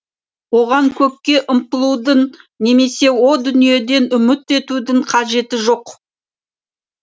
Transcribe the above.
оған көкке ұмтылудың немесе о дүниеден үміт етудің қажеті жоқ